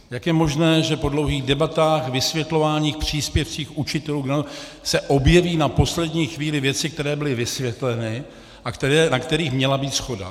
Jak je možné, že po dlouhých debatách, vysvětlováních, příspěvcích učitelů se objeví na poslední chvíli věci, které byly vysvětleny a na kterých měla být shoda?